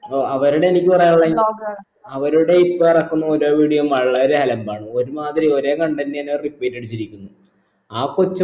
ഓ അവരുടെ എനിക്ക് പറയാനുള്ളെ അവരുടെ ഇപ്പോ ഇറക്കുന്ന ഓരോ video ഉം വളരെ അലമ്പാണ് ഒരു മാതിരി ഒരേ content തന്നെ repeat അടിച്ചിരിക്കുന്നു ആ കൊച്ചും